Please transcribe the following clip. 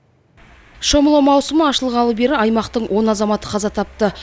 шомылу маусымы ашылғалы бері аймақтың он азаматы қаза тапты